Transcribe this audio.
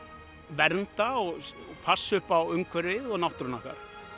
vernda og passa upp á umhverfið og náttúruna okkar